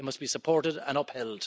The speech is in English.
It must be supported and upheld.